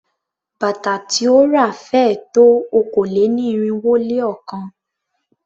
Bàtà tí ó ra féé tó okòó-lé-ní-irínwó-lé-ọ̀kan.